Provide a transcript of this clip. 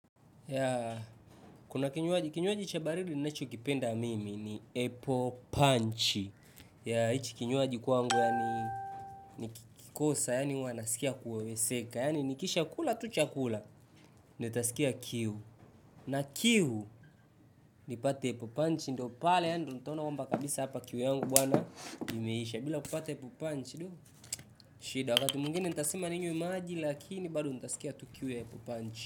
Kuna kinywaji, kinywaji cha baridi ninachokipenda mimi ni apple punch. Hiki kinywaji kwangu nikikosa, yaani huwa nasikia kuweweseka. Ya ni nikisha kula tu chakula. Nitasikia kiu, na kiu nipate apple punch. Ndipo pale ninapoona kwamba kabisa hapa kiu yangu imeisha bila kupata apple punch. Shida wakati mwingine nitasema ninywe maji, lakini bado nitasikia tu kiu ya apple punch.